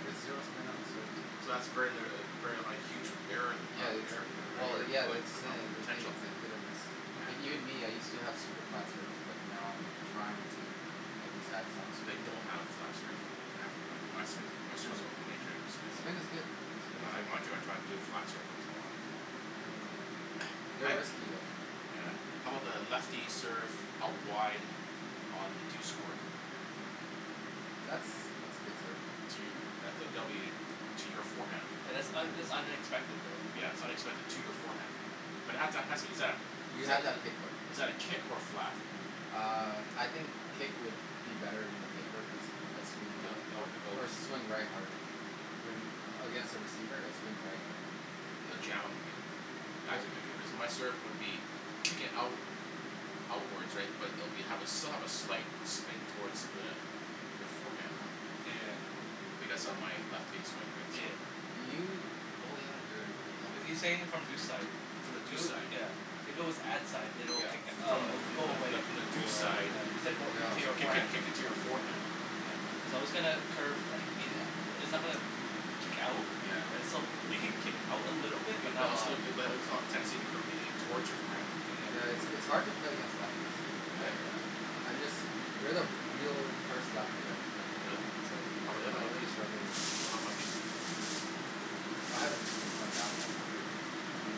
he has zero spin on his serves So that's very litera- very a huge error in that, Yeah it's error potent, well yeah err that's the poten- the thing potential it's a hit or miss Like even Yeah me I used to have super flat serves but now I'm trying to at least have some I spin don't have flat serve, I have my spin, my No serves, no has major spin all. Spin is good, spin is I good wanna try to do a flat serve once in a while They're risky though Yeah I'm about lefty serve out wide on the douce court? That's that's a good serve To, that's a W to your forehand. Oh Yeah that's un- that's unexpected though. its unexpected to your forehand, but it has, exactly, You but have to have that kick though is that a kick or a flat? Uh I think kick would be better in your favor cuz it'll swing left hard or swing right harder When against a receiver it'll swing right harder It'll jam in you. Actu- cuz my serve would be kicking out outwards right but it will have be still a slight spin toward the your forehand though. Yeah Because of my lefty swing right so Yeah You oh yeah you're you're a Are lefty you He's saying it saying from from deuce deuce side, side From the deuce side yeah, if it was ad side than it would Yeah. kick it up From and it the from will the go from away the from the Oh deuce side right yeah, yeah kick- kick- right kicking to your forehand Yeah But all still it might reflect off the tendency of the curve towards your forearm Yeah it's it's hard to play against lefties I I I'm just, you're the real first lefty I've played Really? against, so How I 'bout the other I really lefties? struggle with No other lefties? I haven't been been playing that long but um